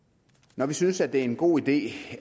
når vi synes det er en god idé